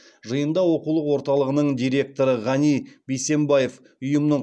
жиында оқулық орталығының директоры ғани бейсембаев ұйымның